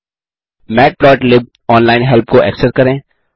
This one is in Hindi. मैटप्लोटलिब ऑनलाइन हेल्प को एक्सेस करें